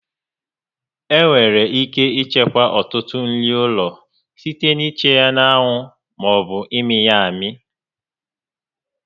Enwere ike ichekwa ọtụtụ nri ụlọ site na ịcha na-anwụ ma ọ bụ ịmị ya amị